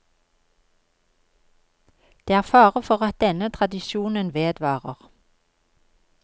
Det er fare for at denne tradisjonen vedvarer.